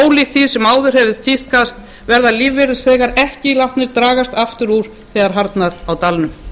ólíkt því sem áður hefur tíðkast verða lífeyrisþegar ekki látnir dragast aftur úr þegar harðnar á dalnum